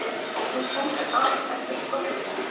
Nú stendur aðeins eftir skorsteinninn